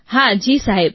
હા જી સાહેબ